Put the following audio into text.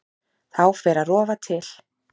Þá fer að rofa til.